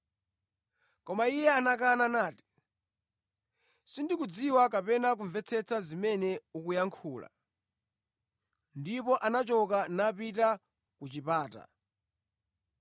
Koma iye anakana nati, “Sindikudziwa kapena kumvetsetsa zimene ukuyankhula.” Ndipo anachoka napita ku chipata.